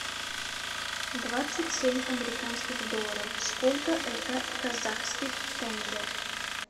двадцать семь американских долларов сколько это в казахских тенге